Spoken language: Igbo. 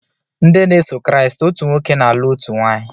Nde na eso kriat, otu nwoke na alu otu nwanyị.